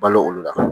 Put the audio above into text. Balo olu la